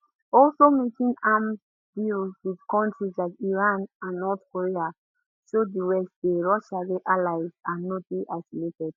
also making arms deals with countries like iran and north korea show di west say russia get allies and no dey isolated